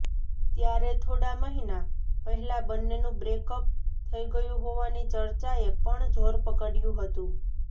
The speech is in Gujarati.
ત્યારે થોડા મહિના પહેલા બંનેનું બ્રેકઅપ થઈ ગયું હોવાની ચર્ચાએ પણ જોર પકડ્યું હતું